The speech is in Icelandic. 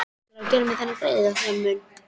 Ætlarðu að gera mér þennan greiða, Sæmi minn?